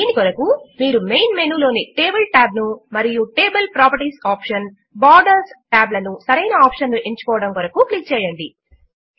దీని కొరకు మీరు మెయిన్ మెనూ లోని టేబుల్ tab ను మరియు table properties option borders tab లను సరైన ఆప్షన్ ను ఎంచుకోవడము కొరకు క్లిక్ చేయండి